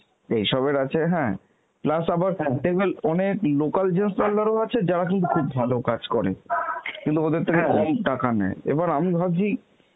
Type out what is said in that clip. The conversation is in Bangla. এইসবের আছে হ্যাঁ plus আবার অনেক local gents parlour ও আছে যারা কিন্তু খুব ভালো কাজ করে, কিন্তু ওদের থেকে কম টাকা নেয়. এবার আমি ভাবছি.